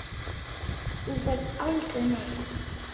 Þú ferð aldrei neitt.